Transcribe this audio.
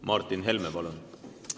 Martin Helme, palun!